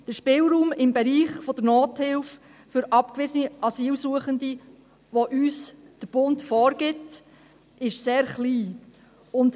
Der Spielraum im Bereich der Nothilfe für abgewiesene Asylsuchende, den uns der Bund vorgibt, ist sehr klein.